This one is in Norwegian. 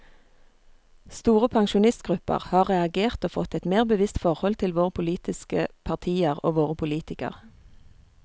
Store pensjonistgrupper har reagert og fått et mer bevisst forhold til våre politiske partier og våre politikere.